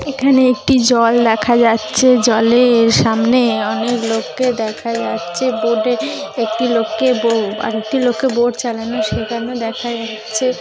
এখানে একটি জল দেখা যাচ্ছে জলের সামনে অনেক লোককে দেখা যাচ্ছে বোর্ড এ একটি লোককে বউ আরেকটি লোকে বোর্ড চালানো শেখানো দেখা যাচ্ছে।